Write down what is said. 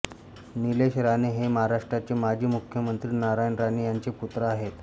निलेश राणे हे महाराष्ट्राचे माजी मुख्यमंत्री नारायण राणे ह्यांचे पुत्र आहेत